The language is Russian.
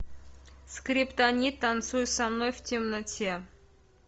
скриптонит танцуй со мной в темноте